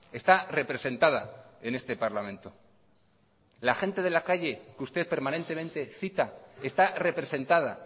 está representada en este parlamento la gente de la calle que usted permanentemente cita está representada